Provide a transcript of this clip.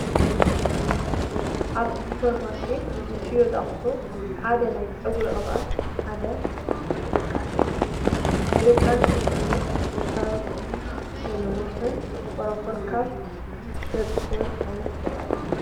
ኣብ ሱፐርማርኬት ዝሽየጡ ኣቕሑ ሓደ ናይ ፀጉሪ ቅብኣት ሓደ ተጠቃሲ እዩ፡፡ ናይ ደቂ ኣንስትዮ ፀጉሪ ካብ ዘንውሑን ፎሮፎር ካብ ዘጥፉኡን ዓይነት ቅብኣት እዩ፡፡